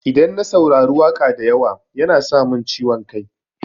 Idan na saurari waƙa da yawa yana sa min ciwon kai.